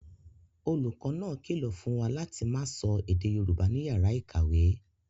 Olùkọ́ náà kìlọ̀ fún wa láti máa sọ èdè Yorùbá ní yàrá ìkàwé